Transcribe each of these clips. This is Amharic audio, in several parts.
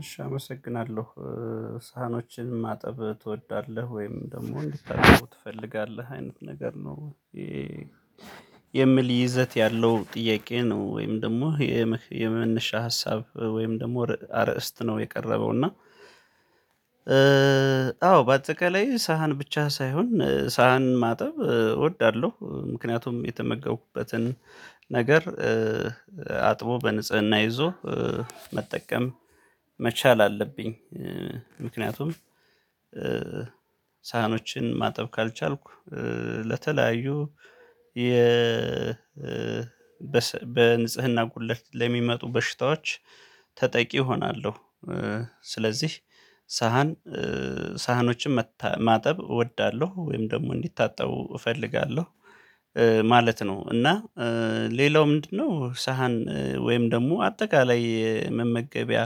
እሺ አመሰግናለሁ። ሳህኖችን ማጠብ ትወዳለህ ወይም ደግሞ እንድታጥብው ትፈልጋለህ አይነት ነገር ነው? የሚል ይዘት ያለው ጥያቄ ነው ወይም ደግሞ የመነሻ ሀሳብ ወይም ደግሞ አርእስት ነው የቀረበው? እና አዎ በአጠቃላይ ሳህን ብቻ ሳይሆን ሳህን ማጠብ እወዳለሁ ምክንያቱም የተመገብኩበትን ነገር አጥቦ በንጽህና ይዞ መጠቀም መቻል አለብኝ። ምክንያቱም ሳህኖችን ማጠብ ካልቻልኩ ለተለያዩ የ በንጽህና ቁድለት ለሚመጡ በሽታዎች ተጠቂ እሆናለሁ። ስለዚህ ሳህን ሳህኖችን ማጠብ እወዳለሁ ወይም ደግሞ እንዲታጠቡ እፈልጋለሁ ማለት ነው። እና ሌላው ምንድነው ሳህን ወይም ደግሞ አጠቃላይ መመገቢያ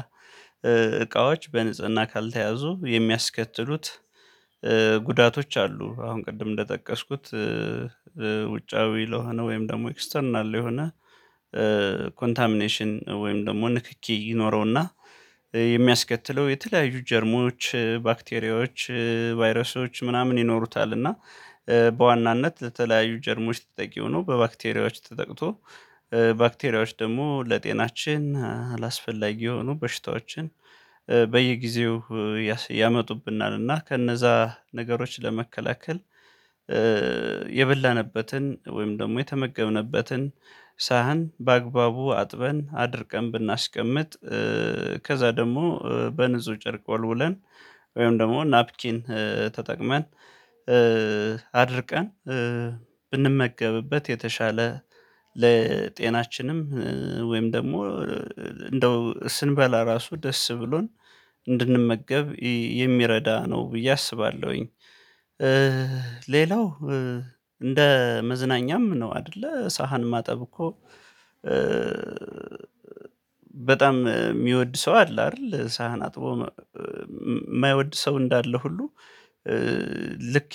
እቃዎች በንጽህና ካልተያዙ የሚያስከትሉት ጉዳቶች አሉ። አሁን ቅድም እንደጠቀስኩት ውጫዊ ለሆነ ወይም ደግሞ ኤክስተርናል ለሆነ ኮንታሚኔሽን ወይም ደግሞ ንክኪ ይኖረውና የሚያስከትለው የተለያዩ ጀርሞች ባክቴሪያዎች ቫይረሶች ምናምን ይኖሩታል። እና በዋናነት ለተለያዩ ጀርሞች ተጠቂ ሆኖ በባክቴሪያዎች ተጠቅቶ ባክቴሪያዎች ደግሞ ለጤናችን አላስፈላጊ የሆኑ በሽታዎችን በየጊዜው ያመጡብናል። እና ከነዛ ነገሮች ለመከላከል የበላንበትን ወይም ደግሞ የተመገብንበትን ሳህን በአግባቡ አጥበን አድርቀን ብናስቀምጥ ከዛ ደግሞ በንጹህ ጨርቅ ወልውለን ወይም ደግሞ ናፕኪን ተጠቅመን አድርቀን ብንመገብበት የተሻለ ለጤናችንም ወይም ደግሞ እንደው ስንበላ ራሱ ደስ ብሎን እንድንመገብ የሚረዳ ነው ብዬ አስባለሁኝ። ሌላው እንደ መዝናኛም ነው አይደለ ሳህን ማጠብ እኮ? በጣም የሚወድ ሰው አለ አይደል? ሳህን አጥቦ የማይወድ ሰው እንዳለ ሁሉ። ልክ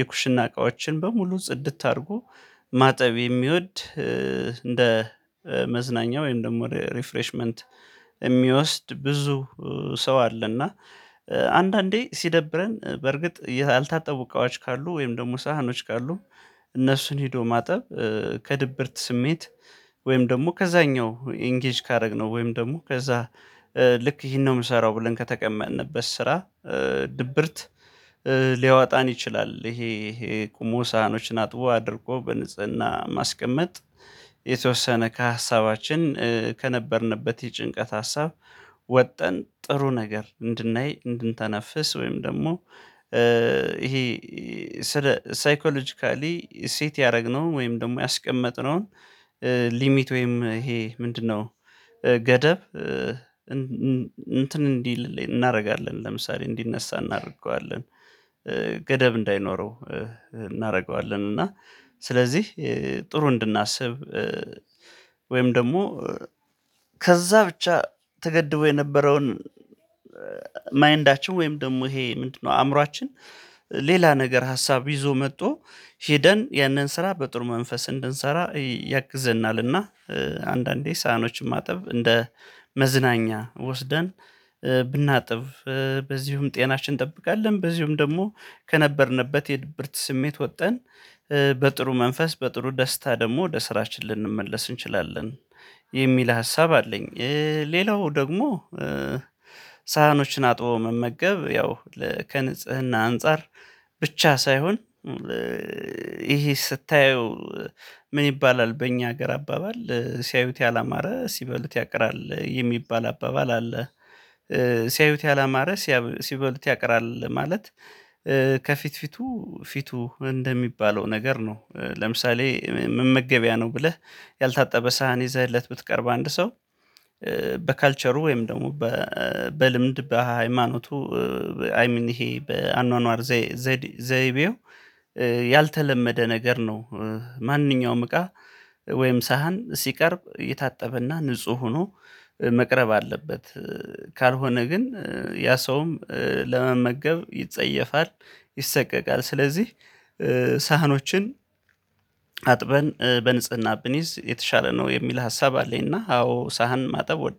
የኩሽና እቃዎችን በሙሉ ጽድት አድርጎ ማጠብ የሚወድ እንደ መዝናኛ ወይም ደግሞ ሪፍሬሽመንት የሚወስድ ብዙ ሰው አለና። አንዳንዴ ሲደብረን በርግጥ ያልታጠቡ እቃዎች ካሉ ወይም ደግሞ ሳህኖች ካሉ እነሱን ሄዶ ማጠብ ከድብርት ስሜት ወይም ደግሞ ከዛኛው ኢንጌጅ ካደረግነው ወይም ደግሞ ከዛ ልክ ይሄን ነው የምሰራው ብለን ከተቀመጥንበት ስራ ድብርት ሊያወጣን ይችላል። ይሄ ይሄ ቁሞ ሳህኖችን አጥቦ አድርቆ በንጽህና ማስቀመጥ የተወሰነ ከሀሳባችን ከነበርንበት የጭንቀት ሀሳብ ወጠን ጥሩ ነገር እንድናይ እንድንተነፍስ ወይም ደግሞ ይሄ ሳይኮሎጂካሊ ሴት ያደረግነው ወይም ደግሞ ያስቀመጥነውን ሊሚት ወይም ይሄ ምንድነው ገደብ? እንትን እንዲል እናደርጋለን ለምሳሌ እንዲነሳ እናደርገዋለን። ገደብ እንዳይኖረው እናደርገዋለን እና ስለዚህ ጥሩ እንድናስብ ወይም ደግሞ ከዛ ብቻ ተገድቦ የነበረውን ማይንዳቸው ወይም ደግሞ ይሄ ምንድነው አእምሮአችን ሌላ ነገር ሀሳብ ይዞ መጥቶ ሄደን ያንን ስራ በጥሩ መንፈስ እንድንሰራ ያግዘናልና። አንዳንዴ ሳህኖችን ማጠብ እንደ መዝናኛ ወስደን ብናጥብ በዚሁም ጤናችን እንጠብቃለን በዚህም ደግሞ ከነበርንበት የድብርት ስሜት ወጠን በጥሩ መንፈስ በጥሩ ደስታ ደግሞ ወደ ስራችን ልንመለስ እንችላለን የሚል ሀሳብ አለኝ። ሌላው ደግሞ ሳህኖችን አጥቦ መመገብ ያው ከንጽህና አንፃር ብቻ ሳይሆን። ይሄ ስታየው ምን ይባላል በእኛ ሀገር አባባል ሲያዩት ያላማረ ሲበሉት ያቅራል የሚባል አባባል አለ። ሲያዩት ያላማረ ሲበሉት ያቅራል ማለት ከፊት ፊቱ ፊቱ እንደሚባለው ነገር ነው። ለምሳሌ ምን መመገበያ ነው ብለህ ያልታጠበ ሳህን ይዘህለት ብትቀርብ አንድ ሰው በካልቸሩ ወይም ደግሞ በልምድ በሃይማኖቱ አይ ሚን ይሄ በአኗኗር ዘይቤው ያልተለመደ ነገር ነው። ማንኛውም እቃ ወይም ሳህን ሲቀርብ የታጠበና ንጹህ ሆኖ መቅረብ አለበት። ካልሆነ ግን ያ ሰውም ለመመገብ ይጸየፋል ይሰቀቃል። ስለዚህ ሳህኖችን አጥበን በንጽህና ብንይዝ የተሻለ ነው የሚል ሀሳብ አለኝና። አዎ ሳህን ማጠብ